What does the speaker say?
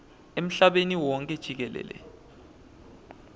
emhlabeni wonkhe jikelele